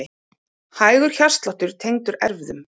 Hægur hjartsláttur tengdur erfðum